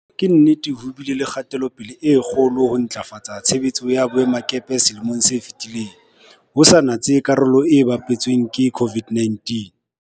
Ka nnete ho bile le kgatelopele e kgolo ya ho ntlafatsa tshebetso ya boemakepe selemong se fetileng, ho sa natse karolo e bapetsweng ke COVID-19.